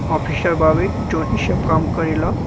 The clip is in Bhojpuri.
ऑफिसर बावे जोन ई सब काम करेला।